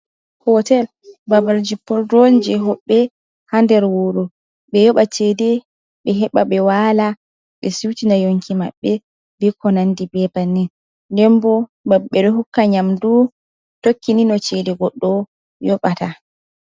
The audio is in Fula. Hotel ɓaɓal jipporɗu on je hoɓɓe ha nɗer wuru. Ɓe yoɓa ceɗe, ɓe heɓa ɓe wala, ɓe siutina yonki maɓɓe, ɓe ko nanɗi ɓe ɓaɓannin. Nɗen ɓo maɓ ɓe hukka nyamɗu, tokkini no ceɗe goɗɗo yoɓata.